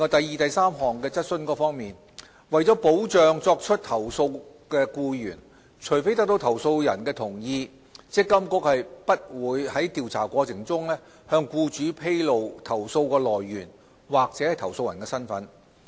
二及三為保障作出投訴的僱員，除非得到投訴人的同意，積金局並不會在調查過程中向僱主披露投訴來源或投訴人的身份。